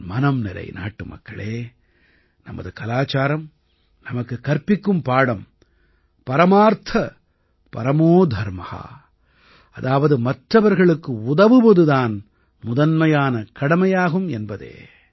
என் மனம்நிறை நாட்டுமக்களே நமது கலாச்சாரம் நமக்குக் கற்பிக்கும் பாடம் परमार्थ परमो धर्मः பரமார்த்த பரமோ தர்ம அதாவது மற்றவர்களுக்கு உதவுவது தான் முதன்மையான கடமையாகும் என்பதே